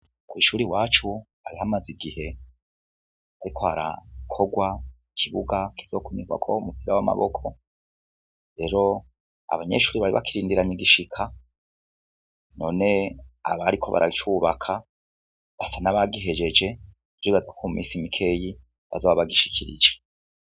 Kw'ishure iwacu hari hamaze igihe hariko harakorwa ikibuga kizokinirwako umupira w'amaboko, rero abanyeshuri bari bakirindiranye igishika, none abariko baracubaka basa nabagihejeje, ndibaza ko mu misi mikeyi bazoba bagishikirije.